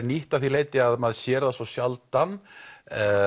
nýtt af því leyti að maður sér það svo sjaldan er